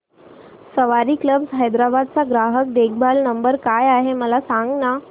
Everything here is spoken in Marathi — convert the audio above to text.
सवारी कॅब्स हैदराबाद चा ग्राहक देखभाल नंबर काय आहे मला सांगाना